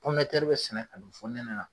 pɔmu de tɛri be sɛnɛ ka don fɔ nɛnɛ la